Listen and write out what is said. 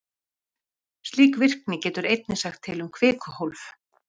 Slík virkni getur einnig sagt til um kvikuhólf.